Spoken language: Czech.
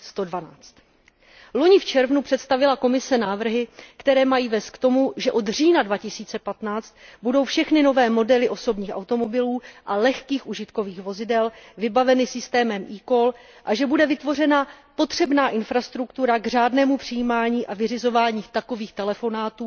112. Loni v červnu představila Komise návrhy, které mají vést k tomu, že od října 2015 budou všechny nové modely osobních automobilů a lehkých užitkových vozidel vybaveny systémem eCall a že bude vytvořena potřebná infrastruktura k řádnému přijímaní a vyřizování takových telefonátů